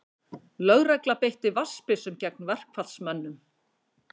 Lögregla beitti vatnsbyssum gegn verkfallsmönnum